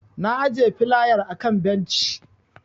Na ajiye filayar a kan benci.